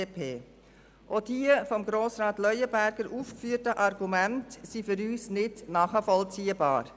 Die von Grossrat Leuenberger aufgeführten Argumente sind für uns nicht nachvollziehbar.